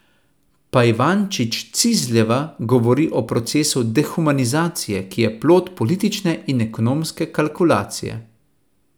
Pajvančić Cizljeva govori o procesu dehumanizacije, ki je plod politične in ekonomske kalkulacije.